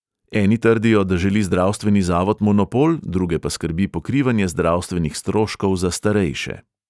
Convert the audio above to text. Eni trdijo, da želi zdravstveni zavod monopol, druge pa skrbi pokrivanje zdravstvenih stroškov za starejše.